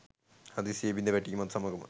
හදිසියේ බිඳ වැටීමත් සමගම